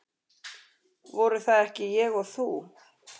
Voru það ekki ég og þú?